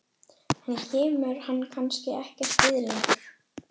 Henni kemur hann kannski ekkert við lengur.